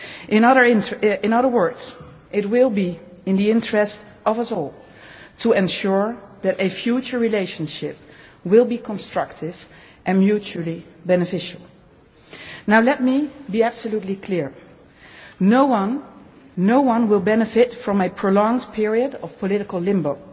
In other words, it will be in the interest of us all to ensure that a future relationship will be constructive and mutually beneficial. Let me absolutely clear. No one will benefit from a prolonged period of political limbo.